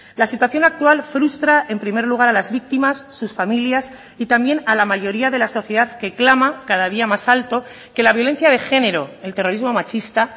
la situación actual frustra en primer lugar a las víctimas sus familias y también a la mayoría de la sociedad que clama cada día más alto que la violencia de género el terrorismo machista